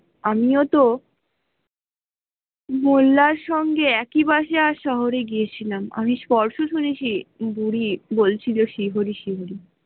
আমিও তো মহিলার সঙ্গে একি বাসে শহরে গিয়েছিলাম আমি স্পষ্ট শুনেছি বুড়ি বলছিল শ্রী হরি শ্রী হরি